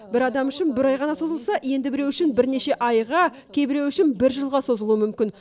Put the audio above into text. бір адам үшін бір ай ғана созылса енді біреу үшін бірнеше айға кейбіреу үшін бір жылға созылуы мүмкін